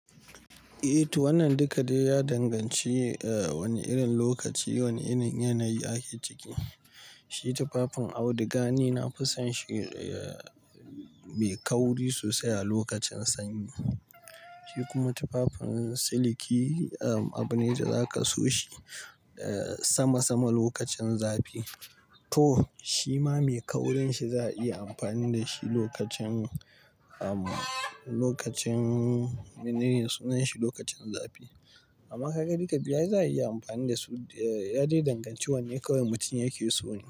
Eh to wannan duka dai ya danganci wane irin lokaci wane irin yanayi ake ciki. Shi tufafin auduga ni nafi son shi mai kauri sosai a lokacin sanyi. Shi kuma tufafin siliki abu ne da zaka so shi sama sama lokacin zafi. To shima mai kaurin shi za a iya amfani da shi lokacin, lokacin mene ne sunan shi? Lokacin zafi. Amma kaga duka biyu za a iya amfani da su. Ya dai danganci wane kawai mutum yake so ne.